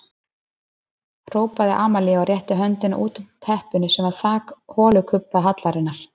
Hrópaði Amalía og rétti höndina út undan teppinu sem var þak holukubbahallarinnar.